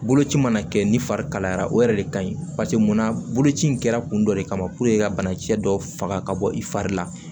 Boloci mana kɛ ni fari kalayara o yɛrɛ de ka ɲi paseke munna boloci in kɛra kun dɔ de kama ka bana kisɛ dɔ faga ka bɔ i fari la